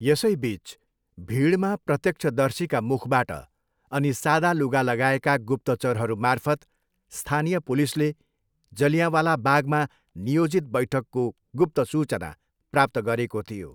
यसैबिच, भिडमा प्रत्यक्षदर्शीका मुखबाट अनि सादा लुगा लगाएका गुप्तचरहरू मार्फत स्थानीय पुलिसले जलियाँवाला बागमा नियोजित बैठकको गुप्त सूचना प्राप्त गरेको थियो।